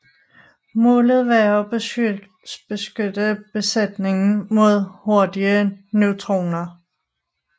Målet var at beskytte besætningen mod hurtige neutroner